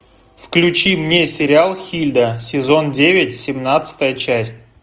включи мне сериал хильда сезон девять семнадцатая часть